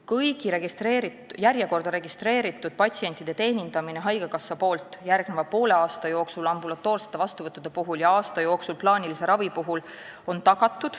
Haigekassa tagab kõigi järjekorda registreeritud patsientide teenindamise järgmise poole aasta jooksul ambulatoorsete vastuvõttude puhul ja aasta jooksul plaanilise ravi puhul.